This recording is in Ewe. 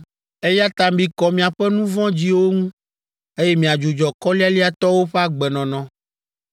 eya ta mikɔ miaƒe nu vɔ̃ dziwo ŋu, eye miadzudzɔ kɔlialiatɔwo ƒe agbenɔnɔ.